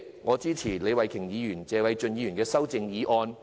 我支持李慧琼議員及謝偉俊議員的修正案。